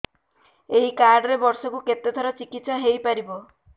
ଏଇ କାର୍ଡ ରେ ବର୍ଷକୁ କେତେ ଥର ଚିକିତ୍ସା ହେଇପାରିବ